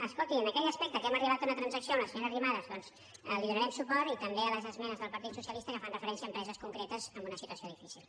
escolti en aquell aspecte a què hem arribat a una transacció amb la senyora arrimadas doncs hi donarem suport i també a les esmenes del partit socialista que fan referència a empreses concretes amb una situació difícil